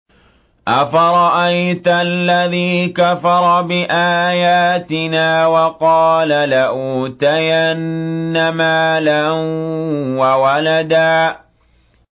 أَفَرَأَيْتَ الَّذِي كَفَرَ بِآيَاتِنَا وَقَالَ لَأُوتَيَنَّ مَالًا وَوَلَدًا